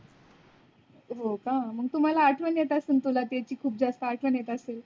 हो का तुम्हाला आठवण येत असेल खूप जास्त आठवण येत असेल.